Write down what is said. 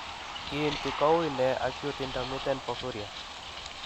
Kiinti ko wuuy nee acute intermittent porphyria ?